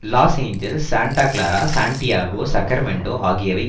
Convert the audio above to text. loss Angeles Santa Clara San Diego Sacramento ஆகியவை